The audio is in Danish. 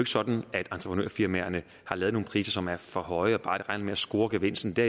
sådan at entrepenørfirmaerne har lavet nogle priser som er for høje og bare regner med at score gevinsten det